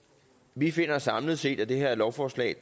vi finder samlet set at det her lovforslag